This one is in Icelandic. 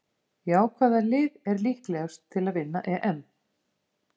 Já Hvaða lið er líklegast til að vinna EM?